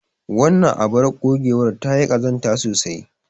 Wannan abar ogewar ta yi ƙazanta sosai.